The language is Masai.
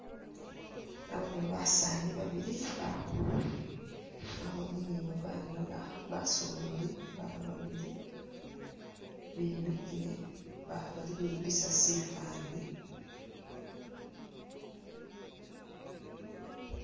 Nabone basani babili bali khu {?] mwabamo ni babana basololi babili bimikhile bali khwikhupisa shifani.